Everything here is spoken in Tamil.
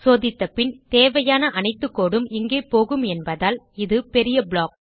சோதித்தபின் தேவையான அனைத்து கோடு உம் இங்கே போகும் என்பதால் இது பெரிய ப்ளாக்